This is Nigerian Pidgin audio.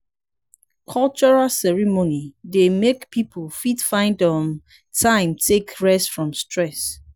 cultural ceremony dey make pipo fit find um time take rest from stress